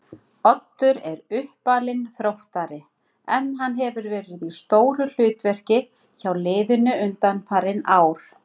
Oddur er uppalinn Þróttari en hann hefur verið í stóru hlutverki hjá liðinu undanfarin ár.